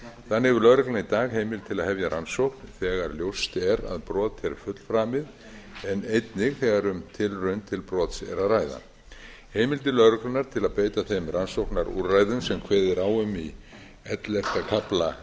þannig hefur lögreglan í dag heimild til að hefja rannsókn þegar ljóst er að brot er fullframið en einnig þegar um tilraun til brots er að ræða heimildir lögreglunnar til að beita þeim rannsóknarúrræðum sem kveðið er á um í ellefta kafla